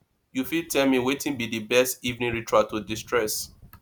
you fit tell me wetin be di best evening ritual to destress